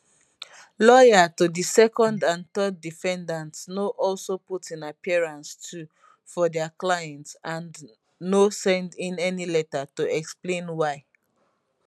lawyer to di second and third defendants no also put in appearance too for dia clients and and no send in any letter to explain why